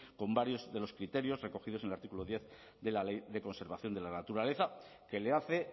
con varios de los criterios recogidos en el artículo diez de la ley de conservación de la naturaleza que le hace